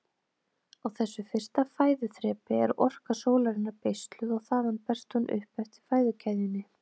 Á þessu fyrsta fæðuþrepi er orka sólarinnar beisluð og þaðan berst hún upp eftir fæðukeðjunni.